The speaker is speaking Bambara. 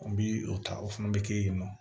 N bi o ta o fana be kɛ yen nɔ